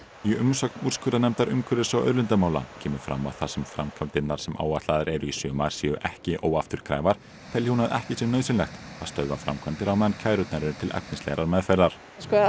í umsögn úrskurðarnefndar umhverfis og auðlindamála kemur fram að þar sem framkvæmdirnar sem áætlaðar eru í sumar séu ekki óafturkræfar telji hún að ekki sé nauðsynlegt að stöðva framkvæmdir á meðan kærurnar eru til efnislegrar meðferðar